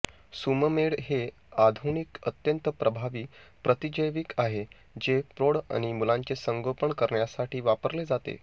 Sumamed हे आधुनिक अत्यंत प्रभावी प्रतिजैविक आहे जे प्रौढ आणि मुलांचे संगोपन करण्यासाठी वापरले जाते